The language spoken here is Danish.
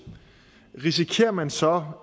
risikerer man så